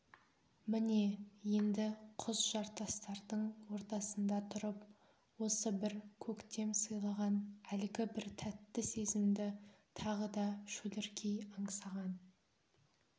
міне енді құз-жартастардың ортасында тұрып осы бір көктем сыйлаған әлгі бір тәтті сезімді тағы да шөліркей аңсаған